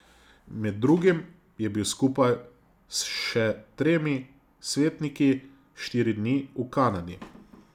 Med drugim je bil skupaj s še tremi svetniki štiri dni v Kanadi.